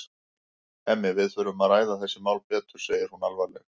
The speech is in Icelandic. Hemmi, við þurfum að ræða þessi mál betur, segir hún alvarleg.